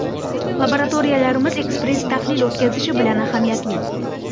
Laboratoriyalarimiz ekspress tahlil o‘tkazishi bilan ahamiyatli.